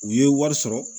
U ye wari sɔrɔ